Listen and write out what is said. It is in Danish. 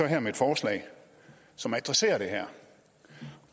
her med et forslag som adresserer det her